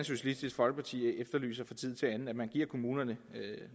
socialistisk folkeparti efterlyser fra tid til anden nemlig at man giver kommunerne